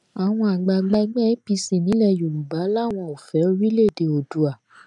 àwọn àgbààgbà ẹgbẹ́ apc nílẹ̀ yorùbá làwọn ò fẹ́ orílẹ̀èdè oòduà